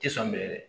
Tɛ san minɛ dɛ